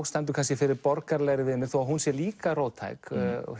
stendur kannski fyrir borgaralegri viðmið þó hún sé líka róttæk